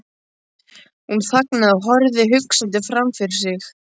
Hún þagnaði og horfði hugsandi framfyrir sig.